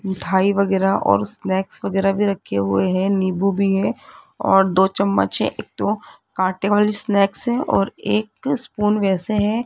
मिठाई वगैरा और स्नैक्स वगैरा भी रखे हुए हैं नींबू भी है और दो चम्मच है एक तो काटे वाली स्नैक्स हैं और एक स्पून वैसे हैं।